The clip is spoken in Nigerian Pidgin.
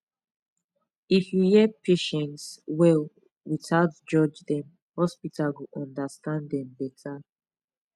if you hear patients well without judge dem hospital go understand dem better